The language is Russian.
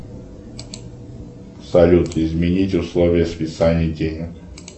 салют изменить условия списания денег